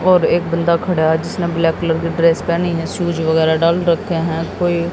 और एक बन्दा खड़ा है जिसने ब्लैक कलर की ड्रेस पहनी है शूज वगैरा डाल रखे हैं कोइ--